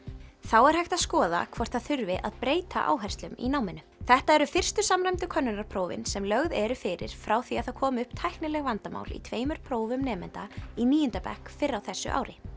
þá er hægt að skoða hvort það þurfi að breyta áherslum í náminu þetta eru fyrstu samræmdu könnunarprófin sem lögð eru fyrir frá því að það komu upp tæknileg vandamál í tveimur prófum nemenda í níunda bekk fyrr á þessu ári